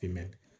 Kɛmɛ